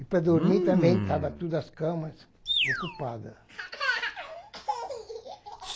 E para dormir também estavam todas as camas ocupadas.